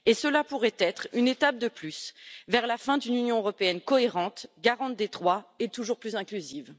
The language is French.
Et cela pourrait être une étape de plus vers la fin d'une Union européenne cohérente garante des droits et toujours plus inclusive.